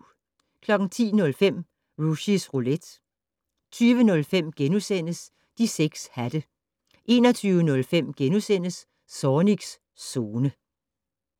10:05: Rushys Roulette 20:05: De 6 hatte * 21:05: Zornigs Zone *